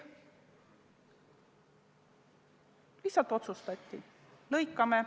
Lihtsalt otsustati: lõikame.